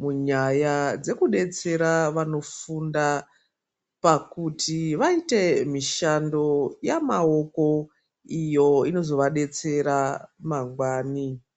munyaya dzekudetsera vanofunda pakuti vaite mishando yemaoko iyo inozovadetsera mangwani.